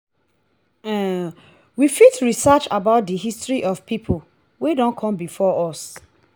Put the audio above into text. um we fit research about di history of pipo wey don come before us